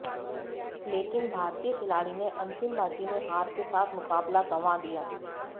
लेकिन भारतीय खिलाड़ी ने अंतिम बाजी में हार के साथ मुकाबला गंवा दिया